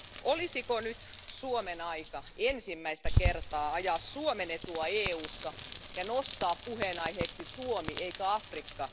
Olisiko nyt Suomen aika ensimmäistä kertaa ajaa Suomen etua EUssa ja nostaa puheenaiheeksi Suomi eikä Afrikka?